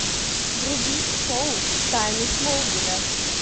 вруби шоу тайны смолвиля